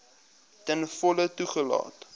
ten volle toegelaat